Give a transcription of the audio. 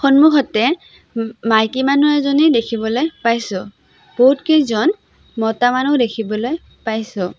সন্মুখতে মাইকীমানুহ এজনী দেখিবলৈ পাইছোঁ বহুতকেইজন মতা মানুহ দেখিবলৈ পাইছোঁ।